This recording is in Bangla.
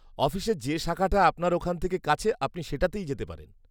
-অফিসের যে শাখাটা আপনার ওখান থেকে কাছে আপনি সেটাতে যেতে পারেন।